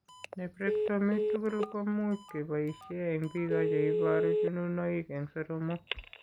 Nephrectomy tugul ko much keboishe eng' biko che iboru chununoik eng' soromok.